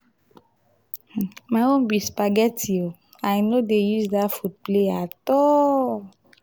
my own be spaghetti. i no dey use dat food play at all.